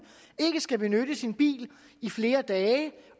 ikke skal benytte sin bil i flere dage